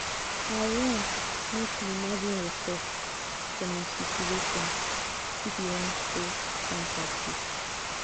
i wan make you imagine yoursef for my situation if you wan show empathy.